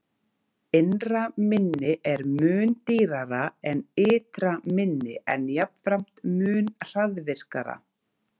Innra minni er mun dýrara en ytra minni, en jafnframt mun hraðvirkara.